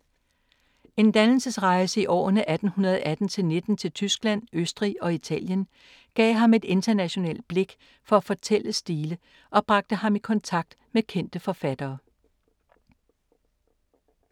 En dannelsesrejse i årene 1818-19 til Tyskland, Østrig og Italien gav ham et internationalt blik for fortællestile og bragte ham i kontakt med kendte forfattere.